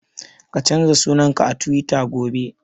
Ka canza sunan ka a Tiwita gobe!